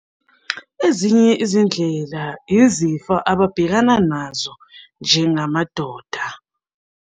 Ezinye izindlela izifo ababhekana nazo njengamadoda.